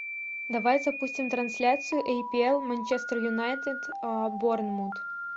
давай запустим трансляцию апл манчестер юнайтед борнмут